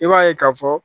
I b'a ye k'a fɔ